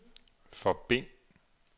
forbind